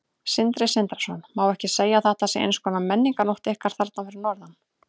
Sindri Sindrason: Má ekki segja að þetta sé eins konar menningarnótt ykkar þarna fyrir norðan?